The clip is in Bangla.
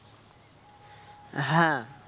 হ্যাঁ।